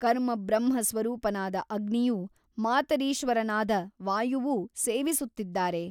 ಕರ್ಮಬ್ರಹ್ಮಸ್ವರೂಪನಾದ ಅಗ್ನಿಯೂ ಮಾತರಿಶ್ವನಾದ ವಾಯುವೂ ಸೇವಿಸುತ್ತಿದ್ದಾರೆ.